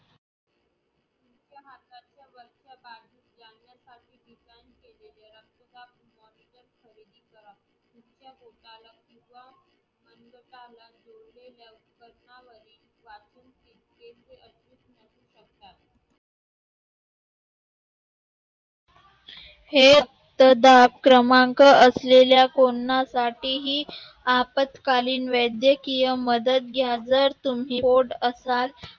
हे रक्तदाब क्रमांक असलेल्या कोणासाठीही आपत्कालीन वैद्यकीय मदत घ्या. जर तुम्ही पोट असाल